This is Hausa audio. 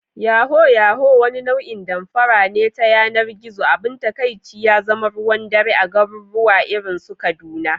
Yahoo yahoo, wani nau'in damfara ta yanar gizo, abin takaici ya zama ruwan dare a garuruwa irin su Kaduna